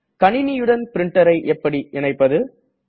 கணினியுடன் printerஐ எப்படி இணைப்பது